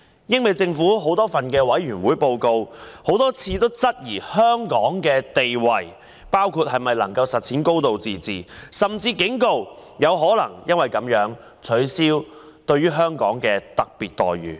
英美政府在多份委員會報告中多次質疑香港的地位，包括能否實踐高度自治，甚至警告有可能因而取消對香港的特別待遇。